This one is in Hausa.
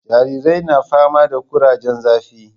Jaririyar na fama da kurajen zafi